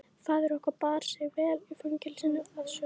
Faðir okkar bar sig vel í fangelsinu að sögn.